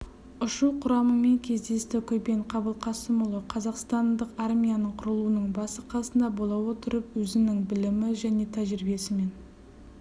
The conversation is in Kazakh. ұшу құрамымен кездесті көпен қабылқасымұлы қазақстандық армияның құрылуының басы-қасында бола отырып өзінің білімі және тәжірибесімен